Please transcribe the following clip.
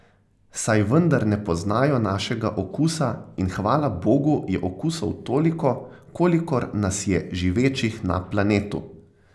Saj vendar ne poznajo našega okusa in hvala bogu je okusov toliko, kolikor nas je živečih na planetu!